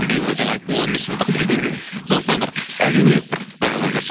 биыл жаңа айттым ғой он бес жылдық сондықтан бір әдемілеп бір құттықтау жолдап жіберші